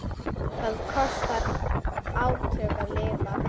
Það kostar átök að lifa.